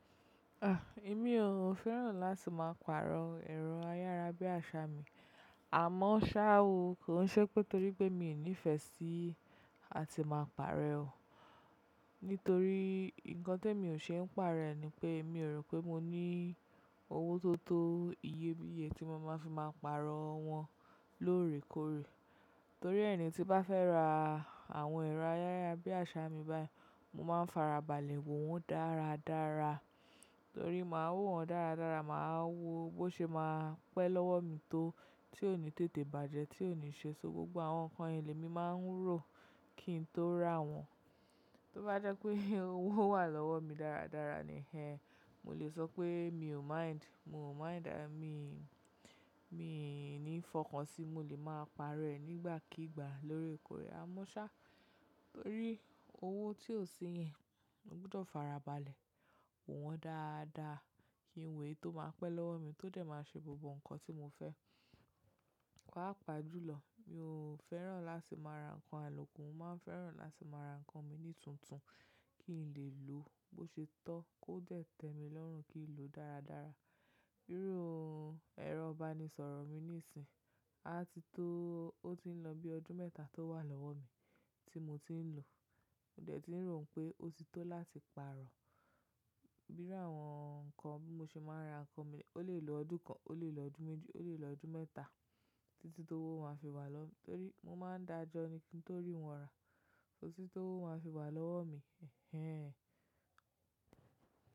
Ah! Èmi ò, ò fẹ́ràn láti máa pàrọ̀ ẹ̀rọ ayára bí àṣá mi. Àmọ́ ṣá o kò ń ṣe pé torí pé mi ò nífẹ̀ẹ́ sí a ti máa pàrọ̀ e oo. Nítorí nǹkan te mi ò ṣe ń pàrọ̀ rẹ̀ ni pé mi ò rò pé mo ní owó tó tó iye bí iye tí mo máa fi máa pàrọ̀ wọ́n lóòrèkóòrè. Torí ẹ ni tí bá fẹ́ ra àwọn ẹ̀rọ ayára bí àṣá mi báyìí, mo máa ń fara balẹ̀ wo wọ́n dáradára. Torí máa wo wọ́n dáradára, máa wo bó ṣe máa pẹ́ lọ́wọ́ mi tó, tí ó ní tètè bàjẹ́, tí ó ní ṣe sọ gbogbo àwọn nǹkan iyen ni mi máa ń rò kí n tó rà wọ́n. Tó bá jẹ́ pé owó wà lọ́wọ́ mi dáradára ni ẹ, mo lè sọ pé mi ò mind, mo ò mind. Àmi, mi ní fọkàn sí i, mo lè máa pàrọ̀ ẹ̀ nígbàkígbà lóòrèkóòrè. Àmọ́ ṣá torí owó tí ò sí yẹn, mo gbọdọ̀ fara balẹ̀ wò wọ́n dáadáa kí n wè é tó máa pẹ́ lọ́wọ́ mi tó jẹ̀ máa ṣe gbogbo nǹkan tí mo fẹ́. Paapaa jùlọ, mi ò fẹ́ràn láti máa ra nǹkan àlòkù. Mo máa ń fẹ́ràn láti máa ra nǹkan mi ní tuntun kí n lè lò ó bó ṣe tọ́, kó jẹ̀ tẹ́ mi lọ́rùn kí n lò ó dáradára. Bírọ̀ ohun ẹ̀rọ ìbanisọ̀rọ̀ mi nísìnyí, a ti tó, ó ti ń lọ bí ọdún mẹ́ta tó wà lọ́wọ́ mi tí mo ti ń lò ó. Mo dẹ̀ ti ń rò pé ó ti tó láti pàrọ̀. Bíru àwọn nǹkan bí mo ṣe máa ń ra nǹkan mi, ó lè lo ọdún kan, ó lè lo ọdún méjì, ó lè lo ọdún mẹ́ta títí tó wó máa fi wà lọ́. Torí mo máa ń dájọ́ ni kí n torí wọn rà títí tó wó máa fi wà lọ́wọ́ mi. Ẹ̀hẹn!